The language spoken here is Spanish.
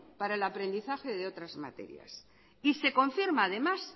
para el aprendizaje de otras materias y se confirma además